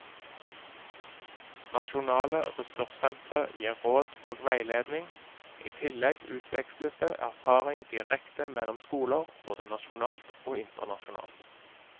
Nasjonale ressurssentre gir råd og veiledning, i tillegg utveksles det erfaring direkte mellom skoler, både nasjonalt og internasjonalt.